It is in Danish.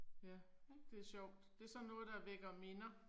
Ja. Det er sjovt. Det er sådan noget der vækker minder